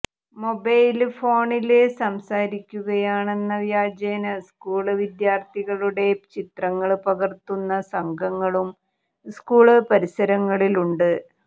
mobile ഫോണില് സംസാരിക്കുകയാണെന്ന വ്യാജേന സ്കൂള് വിദ്യാര്ഥികളുടെ ചിത്രങ്ങള് പകര്ത്തുന്ന സംഘങ്ങളും സ്കൂള് പരിസരങ്ങളിലുണ്ട്